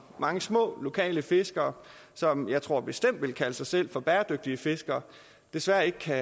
mange små lokale fiskere som jeg tror bestemt ville kalde sig selv for bæredygtige fiskere desværre ikke kan